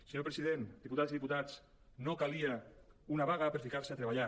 senyor president diputades i diputats no calia una vaga per ficar se a treballar